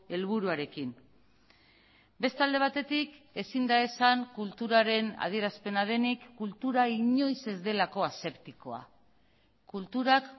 helburuarekin beste alde batetik ezin da esan kulturaren adierazpena denik kultura inoiz ez delako aseptikoa kulturak